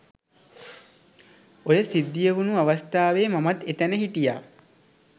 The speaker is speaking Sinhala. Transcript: ඔය සිද්ධිය වුණු අවස්ථාවේ මමත් එතැන හිටියා.